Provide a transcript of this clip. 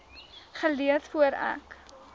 gelees voor ek